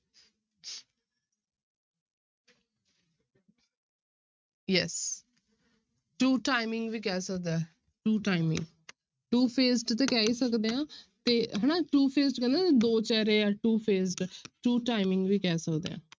Yes two timing ਵੀ ਕਹਿ ਸਕਦੇ two timing two faced ਤੇ ਕਹਿ ਹੀ ਸਕਦੇ ਹਾਂ ਤੇ ਹਨਾ two faced ਕਹਿੰਦੇ ਨਾ ਦੋ ਚਿਹਰੇ ਆ two faced two timing ਵੀ ਕਹਿ ਸਕਦੇ ਹਾਂ।